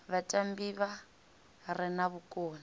vhatambi vha re na vhukoni